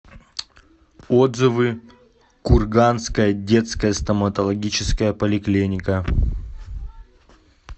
отзывы курганская детская стоматологическая поликлиника